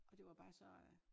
Og det var bare så